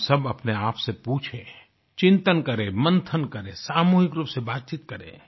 हम सब अपने आप से पूछें चिंतन करें मंथन करें सामूहिक रूप से बातचीत करें